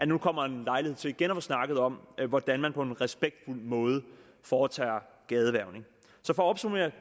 nu kommer en lejlighed til igen at få snakket om hvordan man på en respektfuld måde foretager gadehvervning så for at opsummere